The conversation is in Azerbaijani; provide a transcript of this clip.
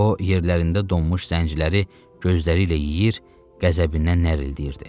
O yerlərində donmuş zəngləri gözləri ilə yeyir, qəzəbindən nərildəyirdi.